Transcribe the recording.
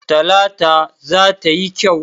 Talata za ta yi kyau.